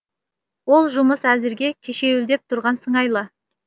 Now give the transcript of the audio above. ол жұмыс әзірге кешеуілдеп тұрған сыңайлы